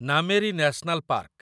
Nameri national park